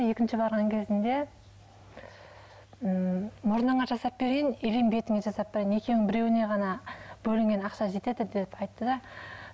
екінші барған кезімде м мұрныңа жасап берейін или бетіңе жасап берейін екеуінің біреуіне ғана бөлінген ақша жетеді деді айтты да